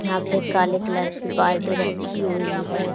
यहां पे एक काले कलर की बाल्टी रखी हुई है।